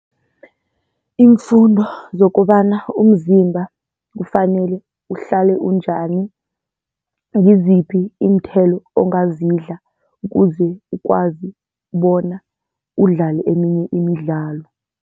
Iimfundo zokobana umzimba kufanele uhlale unjani, ngiziphi iinthelo ongazidla ukuze ukwazi bona udlale eminye imidlalo.